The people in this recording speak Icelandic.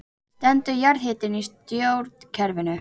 Stendur jarðhitinn í stjórnkerfinu